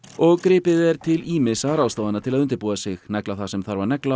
og gripið er til ýmissa ráðstafana til að undirbúa sig negla það sem þarf að negla og